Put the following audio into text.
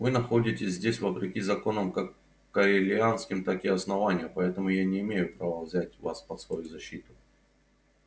вы находитесь здесь вопреки законам как корелианским так и основания поэтому я не имею права взять вас под свою защиту